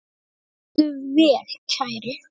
Farðu vel, kæri.